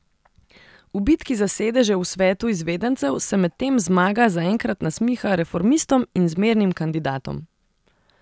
V bitki za sedeže v svetu izvedencev se medtem zmaga zaenkrat nasmiha reformistom in zmernim kandidatom.